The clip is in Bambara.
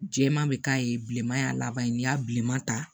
Jɛman bɛ k'a ye bilenman y'a laban ye n'i y'a bilenman ta